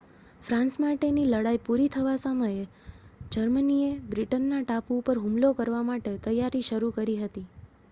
France માટેની લડાઈ પૂરી થવા સાથે જર્મનીએ બ્રિટનના ટાપુ ઉપર હુમલો કરવા માટે તૈયારી શરુ કરી હતી